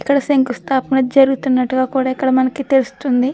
ఎక్కడ శంకుస్థాపన జరుగుతున్నట్టుగా కూడా ఇక్కడ మనకి తెలుస్తుంది. ఇక్కడ చాలామంది--